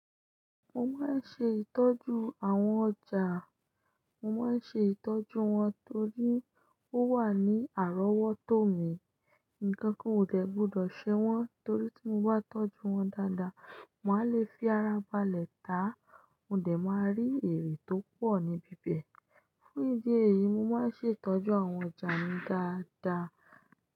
Mo máa ń ṣe ìtọ́jú àwọn ọjà, mo máa ń ṣe ìtọ́jú wọn torí ó wà ní àrọ́wọ́tó mi. Nǹkan kan o dẹ̀ gbọ́dọ̀ ṣe wọn torí tí mo bá tọ́jú wọn dáadáa, màá le fi ara balẹ̀ tàá, mo dẹ̀ máa rí èrè tó pọ̀ ní bíbẹ̀. Fún ìdí èyí, mo máa ń ṣe ìtọ́jú àwọn ọjà mi dáadáa.